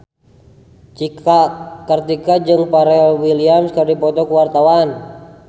Cika Kartika jeung Pharrell Williams keur dipoto ku wartawan